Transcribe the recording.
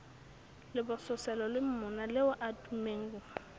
lebososelo le monaleo a tummeng